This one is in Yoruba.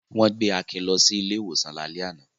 Wọ́n gbé Akin lọ sí ilé-ìwòsàn lálẹ́ àná.